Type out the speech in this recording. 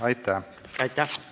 Aitäh!